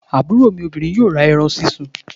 Àbúrò mi obirin yóò ra eran sísun